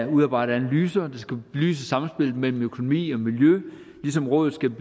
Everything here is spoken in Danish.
udarbejder analyser der skal belyse samspillet mellem økonomi og miljø ligesom rådet skal